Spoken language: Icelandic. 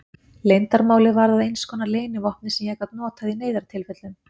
Leyndarmálið varð að einskonar leynivopni sem ég gat notað í neyðartilfellum.